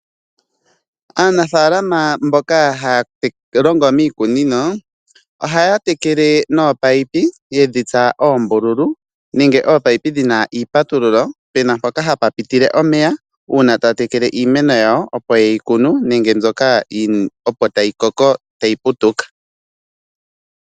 Aanafaalama mboka haa longo iikunino, ohaa tekele nominino ndhoka ye dhi tsa oombululu nenge dhina iipatululo uuna taa tekele iimeni mbyoka opo ye yi kunu nenge opo ta yi putuka.